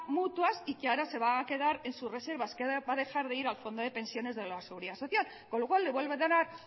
mutuas y que ahora se va a quedar en sus reservar que va a dejar de ir al fondo de pensiones de la seguridad social con lo cual le vuelve a dar